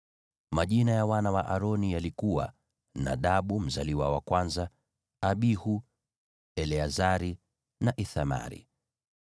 Majina ya wana wa Aroni yalikuwa: Nadabu mzaliwa wa kwanza na Abihu, Eleazari na Ithamari.